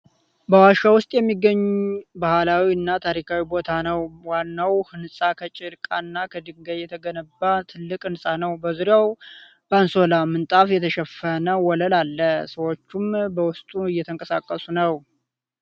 በዋሻ ውስጥ የሚገኝ ባህላዊ እና ታሪካዊ ቦታ ነው ። ዋናው ህንጻ ከጭቃና ከድንጋይ የተገነባ ትልቅ ህንፃ ነው ።በዙሪያው በአንሶላ (ምንጣፍ) የተሸፈነ ወለል አለ። ሰዎችም በውስጡ እየተንቀሳቀሱ ነዉ።